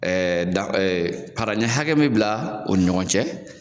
dan hakɛ me bila o ni ɲɔgɔn cɛ,